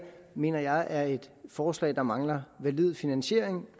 mener jeg er et forslag der mangler valid finansiering